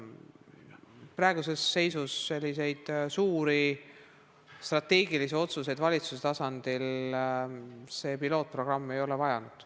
Praeguses seisus selliseid suuri strateegilisi otsuseid valitsuse tasandil see pilootprogramm ei ole vajanud.